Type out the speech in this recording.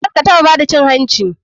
Karkataɓa bada cin hanci.